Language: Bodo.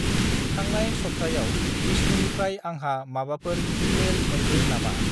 थांनाय सब्थायाव बिस्नुनिफ्राय आंहा माबाफोर इमेइल मोन्दो नामा?